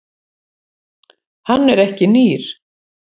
Hann er ekki nýr.